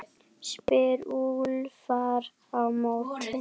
spyr Úlfar á móti?